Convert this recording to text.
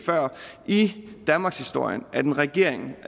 i danmarkshistorien at en regering